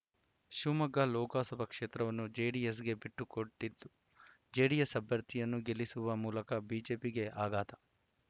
ಶಿವಮೊಗ್ಗ ಲೋಕಸಭಾ ಕ್ಷೇತ್ರವನ್ನೂ ಜೆಡಿಎಸ್‌ಗೆ ಬಿಟ್ಟುಕೊಟ್ಟಿದ್ದು ಜೆಡಿಎಸ್‌ ಅಭ್ಯರ್ಥಿಯನ್ನು ಗೆಲ್ಲಿಸುವ ಮೂಲಕ ಬಿಜೆಪಿಗೆ ಆಘಾತ